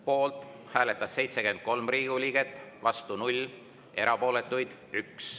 Poolt hääletas 73 Riigikogu liiget, vastu 0, erapooletuks jäi 1.